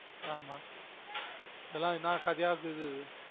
ஆமா இதுலான் என்னா கதயா பேசுது